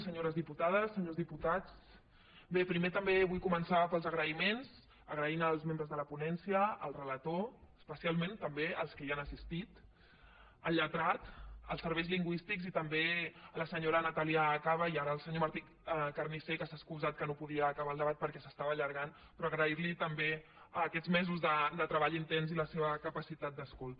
senyores diputades senyors diputats bé primer també vull començar pels agraïments donant les gràcies als membres de la ponència al relator especialment també als que hi han assistit al lletrat als serveis lingüístics i també a la senyora natàlia caba i al senyor martí carnicer que s’ha excusat que no podia acabar el debat perquè s’estava allargant però agrair li també aquests mesos de treball intens i la seva capacitat d’escolta